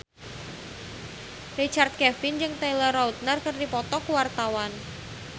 Richard Kevin jeung Taylor Lautner keur dipoto ku wartawan